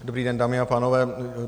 Dobrý den, dámy a pánové.